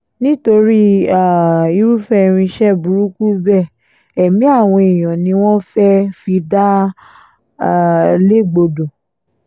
nítorí um irúfẹ́ irinṣẹ́ burúkú bẹ́ẹ̀ ẹ̀mí àwọn èèyàn ni wọ́n fẹ́ẹ́ fi dá um légbodò